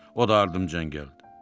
O da ardınca gəldi.